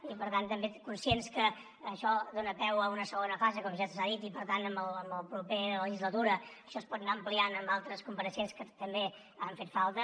i per tant també som conscients que això dona peu a una segona fase com ja s’ha dit i per tant a la propera legislatura això es pot anar ampliant amb altres compareixents que també han fet falta